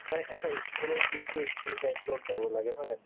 মানে এটা ই school ত গৈছো ই school type ত যাব লাগে জানো